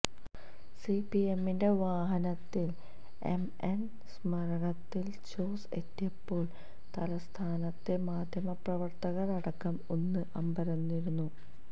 സിപിഎമ്മിന്റെ വാഹനത്തില് എംഎന് സ്മാരകത്തില് ജോസ് എത്തിയപ്പോള് തലസ്ഥാനത്തെ മാധ്യമപ്രവര്ത്തകര് അടക്കം ഒന്ന് അമ്പരന്നിരുന്നു